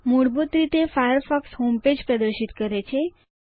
મૂળભૂત રીતે Firefox homepage પ્રદર્શિત કરે છે